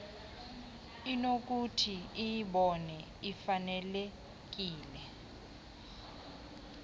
inokuthi iyibone ifanelekile